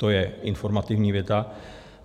To je informativní věta.